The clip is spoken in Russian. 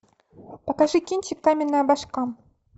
покажи кинчик каменная башка